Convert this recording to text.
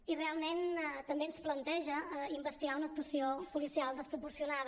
i realment també ens planteja investigar una actuació policial desproporcionada